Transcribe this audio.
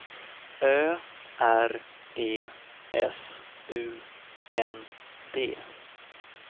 Ö R E S U N D